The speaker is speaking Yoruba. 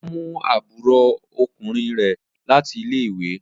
Ọlá mú àbúrò ọkùnrin rẹ̀ láti ilé-ìwé.